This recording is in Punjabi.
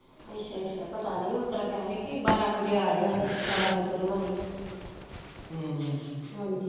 ਅੱਛਾ ਅੱਛਾ ਪਤਾ ਨੀ ਓਸਤਰਾਂ ਕਹਿਣ ਡਏ ਕਿ ਬਾਰਾਂ ਵਜੇ ਅਜਿਓ ਕਹਿੰਦਾ ਬਾਰਾਂ ਵਜੇ ਸ਼ੁਰੂ ਹੋਣੀ ਐ ਹਮ ਹਾਂਜੀ